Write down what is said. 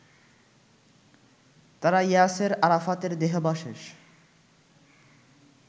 তারা ইয়াসের আরাফাতের দেহাবশেষ